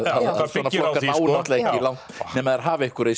svona flokkar ná náttúrulega ekki langt nema þeir hafi einhverja í